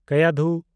ᱠᱟᱭᱟᱫᱷᱩ (ᱵᱟᱥᱤᱢ ᱡᱤᱞᱟ ᱨᱮᱭᱟᱜ ᱨᱤᱥᱳᱰ ᱛᱟᱞᱩᱠᱟ ᱨᱮ ᱟᱜᱚᱨᱣᱟᱲᱤ ᱥᱩᱨ ᱠᱷᱚᱱ ᱮᱦᱚᱵᱚᱜ-ᱟ ᱟᱨ ᱥᱚᱝᱜᱚᱢ ᱪᱤᱱᱪᱳᱞᱤ ᱥᱩᱨ ᱨᱮ ᱯᱮᱝᱜᱟᱝᱜᱟ ᱨᱮ ᱧᱟᱯᱟᱢᱚᱜ-ᱟ)